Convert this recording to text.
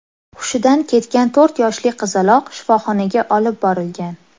Hushidan ketgan to‘rt yoshli qizaloq shifoxonaga olib borilgan.